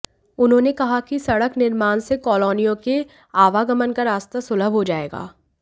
उन्होंने कहा कि सड़क निर्माण से कॉलोनियों के आवागमन का रास्ता सुलभ हो जाएगा